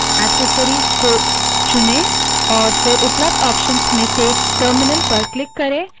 accessories को चुनें और फिर उपलब्ध options से terminal पर click करें